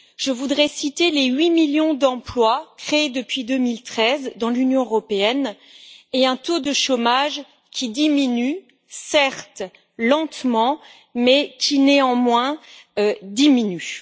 Je voudrais citer les 8 millions d'emplois créés depuis 2013 dans l'Union européenne et un taux de chômage qui diminue, certes lentement, mais qui néanmoins diminue.